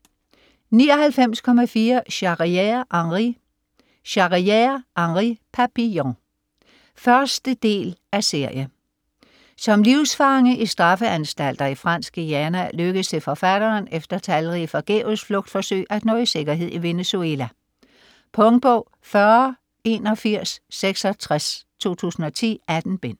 99.4 Charrière, Henri Charrière, Henri: Papillon 1. del af serie. Som livsfange i straffeanstalter i Fransk Guyana lykkes det forfatteren, efter talrige forgæves flugtforsøg, at nå i sikkerhed i Venezuela. Punktbog 408166 2010. 18 bind.